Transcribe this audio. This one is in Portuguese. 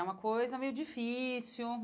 É uma coisa meio difícil.